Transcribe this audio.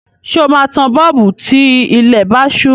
Ṣé o máa tan bọ́ọ̀bù tí ilẹ̀ bá ṣú?